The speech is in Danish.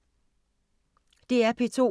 DR P2